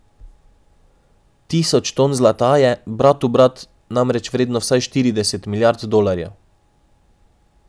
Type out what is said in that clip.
Tisoč ton zlata je, brat bratu, namreč vredno vsaj štirideset milijard dolarjev.